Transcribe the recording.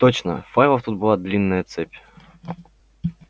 точно файлов тут была длинная цепь